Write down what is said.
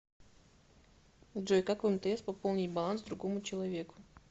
джой как в мтс пополнить баланс другому человеку